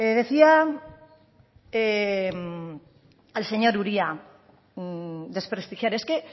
decía el señor uria desprestigiar es que